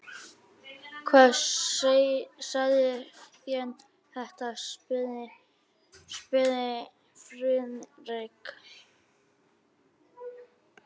Hljóðskrafið efldist og varð að háværum orðrómi.